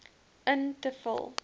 in te vul